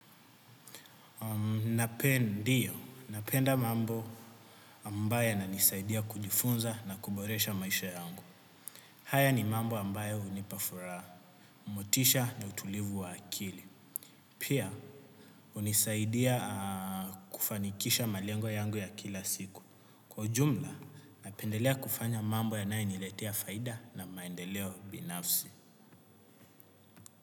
Napendio, napenda mambo ambaya yananisaidia kujifunza na kuboresha maisha yangu. Haya ni mambo ambaya hunipafuraha, motisha na utulivu wa akili. Pia, hunisaidia kufanikisha malengo yangu ya kila siku. Kwa ujumla, napendelea kufanya mambo yanayo niletea faida na maendeleo binafsi.